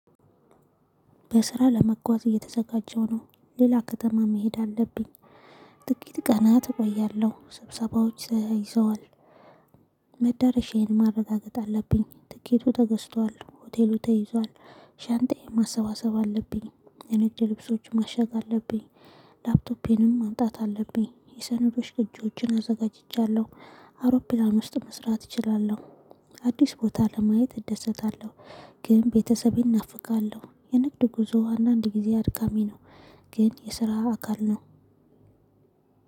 በስራ ለመጓዝ እየተዘጋጀሁ ነው ሌላ ከተማ መሄድ አለብኝ ጥቂት ቀናት እቆያለሁ ስብሰባዎች ተያይዘዋል። መዳረሻዬን ማረጋገጥ አለብኝ ትኬቱ ተገዝቷል ሆቴሉ ተይዟል። ሻንጣዬን ማሰባሰብ አለብኝ። የንግድ ልብሶችን ማሸግ አለብኝ። ላፕቶፔንም ማምጣት አለብኝ የሰነዶች ቅጆችን አዘጋጅቻለሁ። አውሮፕላን ውስጥ መስራት እችላለሁ። አዲስ ቦታ ለማየት እደሰታለሁ። ግን ቤተሰቤን ናፍቃለሁ የንግድ ጉዞ አንዳንድ ጊዜ አድካሚ ነው። ግን የስራ አካል ነው።